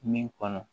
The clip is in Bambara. Min kɔnɔ